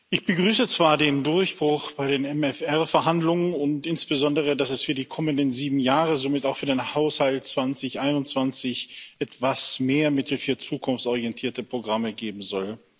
Ich begrüße zwar den Durchbruch bei den MFR Verhandlungen und insbesondere, dass es für die kommenden sieben Jahre und somit auch für den Haushalt 2021 etwas mehr Mittel für zukunftsorientierte Programme geben soll.